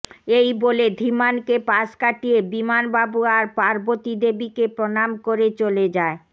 এই বলে ধীমান কে পাশ কাটিয়ে বিমান বাবু আর পার্বতী দেবীকে প্রণাম করে চলে যায়